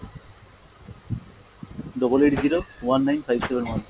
double eight zero, one nine five seven one